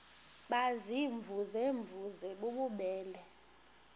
baziimvuze mvuze bububele